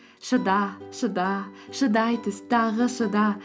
шыда шыда шыдай түс тағы шыда